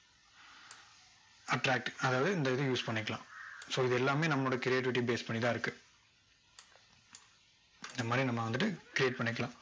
attract அதாவது இந்த இது use பண்ணிக்கலாம் so இது எல்லாமே நம்மளோட creativity base பண்ணி தான் இருக்கு இந்த மாதிரி நம்ம வந்துட்டு create பண்ணிக்கலாம்